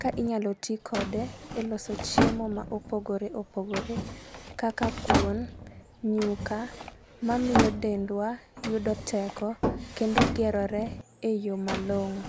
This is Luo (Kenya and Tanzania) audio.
ka inyalo tii kode e loso chiemo ma opogore opogore kaka kuon, nyuka mamiyo dendwa yudo teko kendo gerore eyoo malong'o.